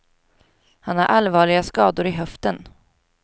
Han har allvarliga skador i höften.